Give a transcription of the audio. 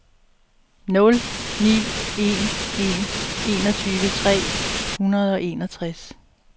nul ni en en enogtyve tre hundrede og enogtres